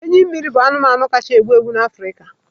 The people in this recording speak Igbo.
Enyi mmiri bụ anụmanụ kacha egbu egbu na Africa